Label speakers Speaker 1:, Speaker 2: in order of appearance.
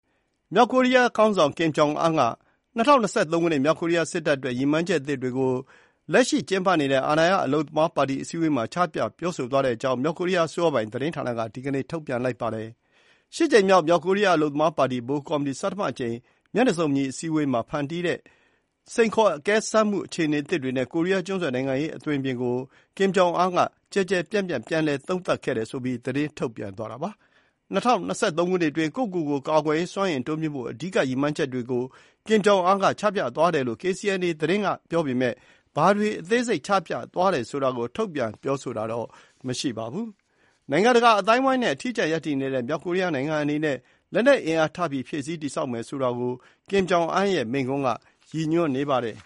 Speaker 1: မြောက်ကိုရီးယားခေါင်းဆောင် Kim Jong Un က ၂၀၂၃ ခုနှစ် မြောက်ကိုရီးယား စစ်တပ်အတွက် ရည်မှန်းချက်အသစ်တွေကို လက်ရှိကျင်းပနေတဲ့ အာဏာရ အလုပ်သမားပါတီအစည်းအဝေးမှာ ချပြပြောဆိုသွားတဲ့အကြောင်း မြောက်ကိုရီးယားအစိုးရပိုင် သတင်းဌာနက ဒီနေ့ ထုတ်ပြန်ပါတယ်။ ၈ ကြိမ်မြောက် မြောက်ကိုရီးယား အလုပ်သမားပါတီ ဗဟိုကော်မတီ ဆဌမအကြိမ် မျက်နှာစုံညီ အစည်းအဝေးမှာ ဖန်တီးတဲ့ စိန်ခေါ်အကဲစမ်းမှု အခြေအနေသစ်တွေနဲ့ ကိုရီးယားကျွန်းဆွယ် နိုင်ငံရေးအသွင်အပြင်ကို Kim Jong Un ကျယ်ကျယ်ပြန့်ပြန့် ပြန် သုံးသပ်ခဲ့တယ်ဆိုပြီး သတင်းထုတ်ပြန်သွားတာပါ။ ၂၀၂၃ ခုနှစ်အတွင်း ကိုယ့်ကိုကိုယ် ကာကွယ်ရေးစွမ်းအင်တိုးမြှင့်ဖို့ အဓိက ရည်မှန်းချက်တွေကို Kim Jong Un က ချပြသွားယ်လို့ KCNA သတင်းဌာနက ပြောပေမဲ့ ဘာတွေ အသေးစိတ်ချပြသွားတယ်ဆိုတာကို ထုတ်ပြန်ပြောဆိုတာ မရှိပါဘူး။ နိုင်ငံတကာအသိုင်းအဝိုင်းနဲ့ အထီးကျန်ရပ်တည်နေတဲ့ မြောက်ကိုရီးယားနိုင်ငံအနေနဲ့ လက်နက် အင်အား ထပ်ပြီးဖြည့်ဆည်းတည်ဆောက်မယ်ဆိုတာကို Kim Jong Un ရဲ့မိန့်ခွန်းက ရည်ညွန်းနေပါတယ်